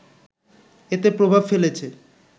এতে প্রভাব ফেলেছে